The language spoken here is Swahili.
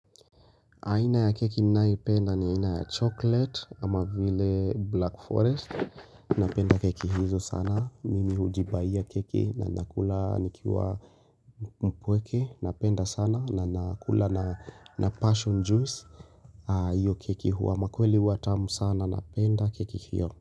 Aina ya keki ninayopenda ni ina ya chocolate kama vile black forest Napenda keki hizo sana, mimi hujibaiya keki na nakula nikiwa mpweke Napenda sana na nakula na passion juice Iyo keki huwa makweli huwa atamu sana napenda keki hiyo.